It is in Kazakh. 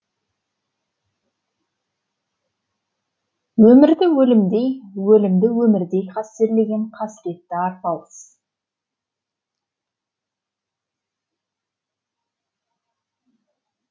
өмірді өлімдей өлімді өмірдей қастерлеген қасіретті арпалыс